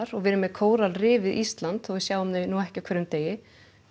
og við erum með kóralrif við Ísland þótt við sjáum þau nú ekki á hverjum degi